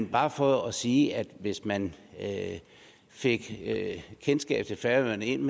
bare for at sige at hvis man fik kendskab til færøerne ind